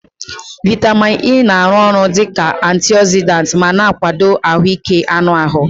Vitamin E na-arụ ọrụ dị ka antiogzidant ma na-akwado ahụike anụ ahụ.